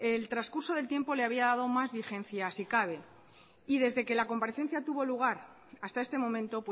el trascurso del tiempo le había dado más vigencia si cabe y desde que la comparecencia tuvo lugar hasta este momento